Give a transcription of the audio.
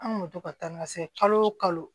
An kun bɛ to ka taa n ka se kalo o kalo